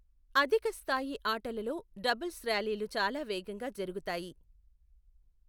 అధిక స్థాయి ఆటలలో డబుల్స్ ర్యాలీలు చాలా వేగంగా జరుగుతాయి.